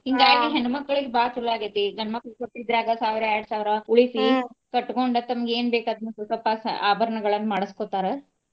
ಹಿಂಗಾಗಿ ಹೆಣ್ಮಕ್ಳಿಗೆ ಬಾಳ ಚೊಲೋ ಆಗೆತಿ ಈಗ. ಗಂಡ ಮಕ್ಳ ಕೊಟ್ಟಿದ್ರಾಗ ಸಾವಿರ ಎರಡ್ ಸಾವಿರ ಉಳಿಸಿ ಕಟಗೊಂಡ ತಮಗ ಏನ ಬೇಕ ಅದನ್ನ ಸ್ವಪ ಅಭರಣಗಳನ್ನ ಮಾಡಸ್ಕೊತಾರೆ.